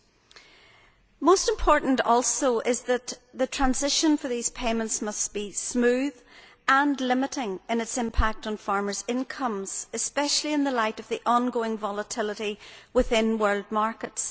Also very important is that the transition for these payments must be smooth, and limited in its impact on farmers' incomes, especially in the light of the ongoing volatility within world markets.